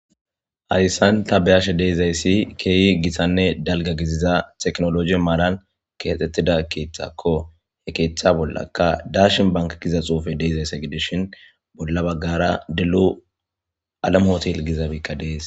hayssan tabeyashe deizayssi keeyi gisanne dalga giziza teknologi maaran keaxxettida keeththakko he keeththa bollaka darshin banka giza xuufe deezayse gidishin bolla baggara dilu alamotiel gizabiikka dees